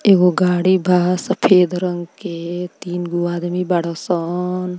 एगो गाड़ी बा सफ़ेद रंग के तीन गो आदमी बारअसन।